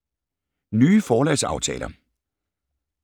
Nye forlagsaftaler